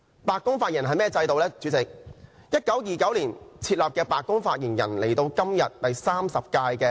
白宮發言人職位於1929年設立，現時的發言人為第三十任。